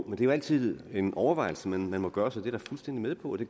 det jo altid en overvejelse man må gøre sig det er jeg fuldstændig med på det